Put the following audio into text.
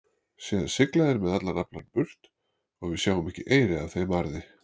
Síðan sigla þeir með allan aflann burt og við sjáum ekki eyri af þeim arði.